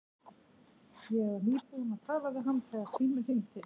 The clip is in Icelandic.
Ég var nýbúin að tala við hann þegar síminn hringdi.